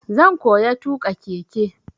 Zan koya tuƙa keke.